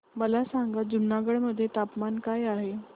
मला सांगा जुनागढ मध्ये तापमान काय आहे